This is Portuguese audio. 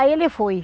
Aí ele foi.